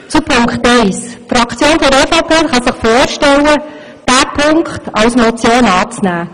Zu Punkt 1: Die Fraktion der EVP kann sich vorstellen, diesen Punkt als Motion anzunehmen.